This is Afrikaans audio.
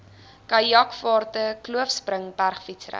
kajakvaarte kloofspring bergfietsry